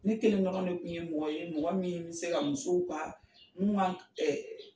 Ni kelen dɔrɔn de kun ye mɔgɔ ye mɔgɔ min bɛ se ka musow ka mun ka